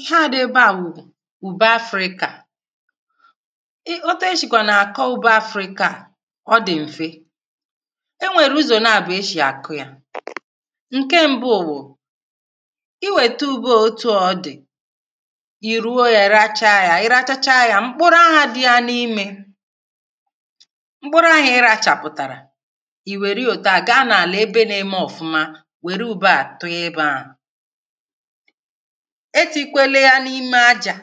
ihe à dị ebe ahụ bụ ube africa à i otu e shìkwà nà-àkọ ubụ africa à ọ dị̀ m̀fe e nwèrè ụzọ̀ naà bụ̀ e shì àkụ yȧ ǹke mbuo bụ̀ i wète ubì otu ọ dị̀ i ruo yȧ racha yȧ i rachacha yȧ mkpụrụ ahụ̇ dị yȧ n’imė mkpụrụ ahụ̇ i re àchàpụ̀tàrà etù ikwele ha n’ime ajà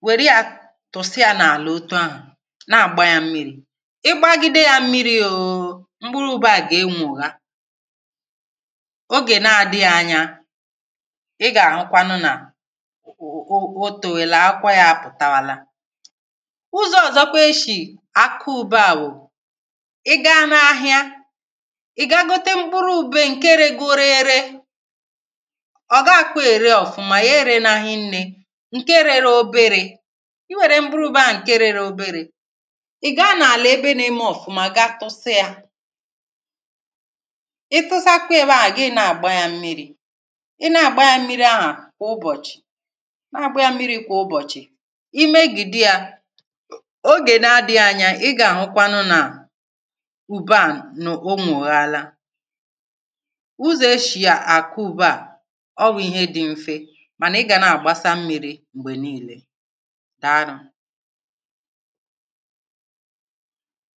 nwère ya tụ̀sị ya n’àlà otu ahụ̀ na-àgba ya mmiri ịgba gide ya mmiri ouu m̀gbùrù ụbọ̇ à gà-enwò ya ọ gà-èna-àdị ya anya ị gà-àhụkwanụ nà o o òtù wèe là akwa ya pụ̀tàwàla ụzọ̇ ọ̀zọkwa eshì àkụ ụbȧ wụ̀ ị gȧ na ahịa ǹkėregȯri̇ri̇ ọ̀ ga-akọ̇ èriof mà ya ere n’hi̇nnė ǹke rere oberė i wère mbụrụ ube à ǹke rere oberė ị̀ gaa n’àlà ebe n’ime of mà ga tụsịa ị tụzakwa ebe ahụ̀ gaa ị na-àgbà ya mmiri̇ ị na-àgbà ya mmiri ahụ̀ kà ụbọ̀chị̀ na-àgbà ya mmiri kà ụbọ̀chị̀ ị mee gìdi yȧ ogè na-adị̇ghị̇ anya ị gà-àhụkwanụ nà ùbe à n’ụmụ̀ ọ̀ghàla ụzọ ọshị̀a àku bu à ọ bụ̀ ihe dị m̀fe mànà ị gà na-àgbasa mmiri m̀gbè niilė dàarụ